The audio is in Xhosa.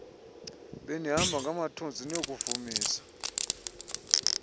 benihamba ngamathunzi niyokuvumisa